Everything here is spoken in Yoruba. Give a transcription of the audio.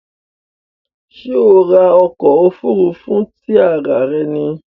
Ṣé o ra ọkọ̀ òfurufú tí ara rẹ ní?